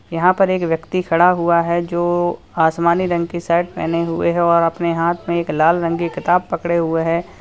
यहां पर एक व्यक्ति खड़ा हुआ है जो आसमानी रंग की शर्ट पहने हुए है और अपने हाथ में एक लाल रंग की किताब पकड़े हुए है।